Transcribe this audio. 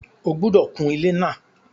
O gbúdọ̀ kun ilé náà!